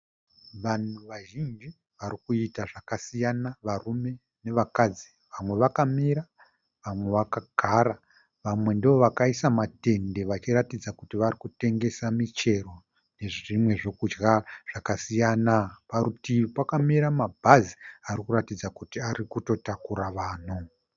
Vanhu vazhinji varikuita zvakasiyana varume nevakadzi. Vamwe vakamira vamwe vakagara. Vamwe ndovakaisa matende vachiratidza kuti varikutengesa michero nezvimwe zvokudya zvakasiyana. Parutivi pakamira mabhazi arikuratidza kuti ari kutotakura vanhu.